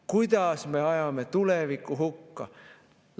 Kuidas me ajame tuleviku hukka!